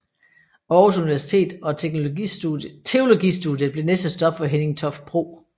Aarhus Universitet og teologistudiet blev næste stop for Henning Toft Bro